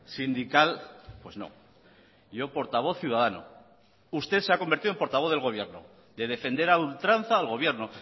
sindical pues no yo portavoz ciudadano usted se ha convertido en portavoz del gobierno de defender a ultranza al gobierno